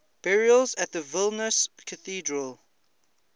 burials at vilnius cathedral